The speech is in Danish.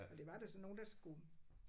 Men det var da sådan nogle der skulle